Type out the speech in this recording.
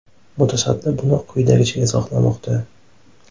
Mutasaddi buni quyidagicha izohlamoqda.